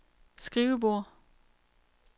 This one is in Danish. skrivebord